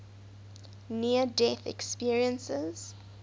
near death experiences